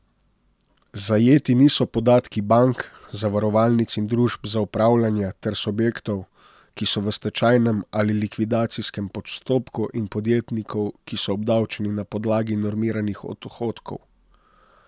Zajeti niso podatki bank, zavarovalnic in družb za upravljanje ter subjektov, ki so v stečajnem ali likvidacijskem postopku, in podjetnikov, ki so obdavčeni na podlagi normiranih odhodkov.